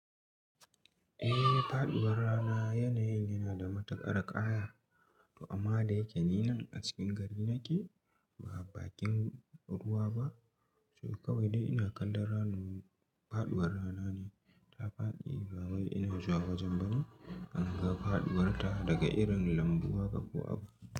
Eh, faduwar rana yanayin yana da matukar ƙaya. To amma da yake ni nan a cikin gari nake ba bakin ruwa ba. To kawai dai ina kallon ranan faduwar rana ne ta faɗi. Ba wai ina zuwa wajen ba ne, an ma faduwar ta daga irin lambuha ka ƙo'a.